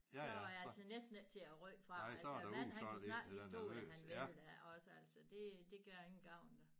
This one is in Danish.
Så var jeg altså næsten ikke til at rykke fra altså mand han kunne snakke i stol han ville da også altså det det gør ingen gavn